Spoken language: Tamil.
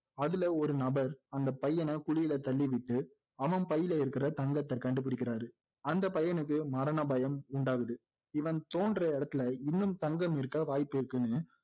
அதுல ஒரு நபர் பையனை குழில தள்ளிவிட்டு அவன் பையில இருக்கிற தங்கத்தை கண்டு பிடிக்கிறாரு அந்த பையனுக்கு மரண பயம் உண்டாகுது இவன் தோண்டுற இடத்துல இன்னும் தங்கம் இருக்க வாய்ப்பிருக்குன்னு